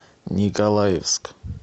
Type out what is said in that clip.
николаевск